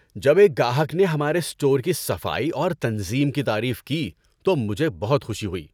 ‏جب ایک گاہک نے ہمارے اسٹور کی صفائی اور تنظیم کی تعریف کی تو مجھے خوشی ہوئی۔